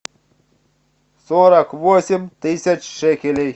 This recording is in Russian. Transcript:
сорок восемь тысяч шекелей